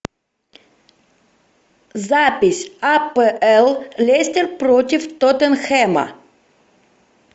запись апл лестер против тоттенхэма